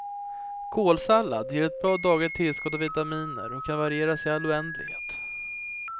Kålsallad ger ett bra dagligt tillskott av vitaminer och kan varieras i all oändlighet.